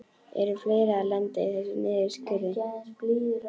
Eru fleiri að lenda í þessum niðurskurði?